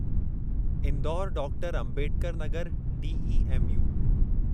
Indore doctor Ambedkar Nagar DEMU